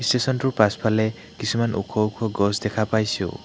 ষ্টেচনটোৰ পাছফালে কিছুমান ওখ ওখ গছ দেখা পাইছোঁ।